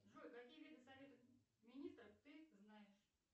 джой какие виды советов министров ты знаешь